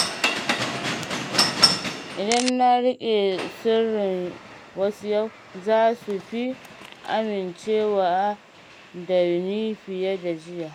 Idan na riƙe sirrin wasu yau, za su fi amincewa da ni fiye da jiya.